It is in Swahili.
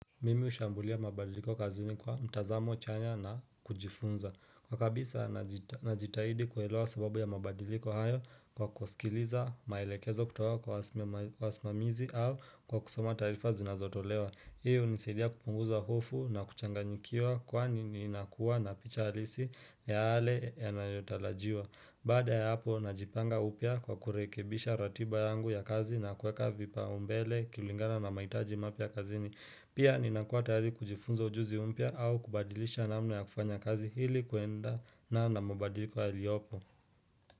Mimi hushambulia mabadiliko kazini kwa mtazamo chanya na kujifunza. Kwa kabisa na jitahidi kuelewa sababu ya mabadiliko hayo kwa kusikiliza maelekezo kutoka kwa wasimamizi au kwa kusoma taarifa zinazotolewa. Hiyo hunisaidia kupunguza hofu na kuchanganyikiwa kwani ninakuwa na picha halisi yale yanayotarajiwa. Baada ya hapo najipanga upya kwa kurekebisha ratiba yangu ya kazi na kueka vipaumbele kulingana na mahitaji mapya kazini. Pia ninakua tayari kujifunza ujuzi umpya au kubadilisha namna ya kufanya kazi hili kuendana na mabadiliko yaliyopo.